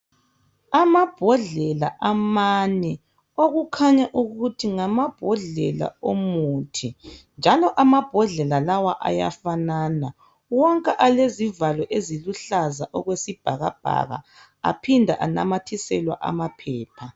Amambodlela amane okukhanya ukuthi ngamambodlela omuthi njalo amambodlela lawa ayafanana wonke alezivalo eziluhlaza okwesibhakabhaka aphinda anamathiselwa amaphepha.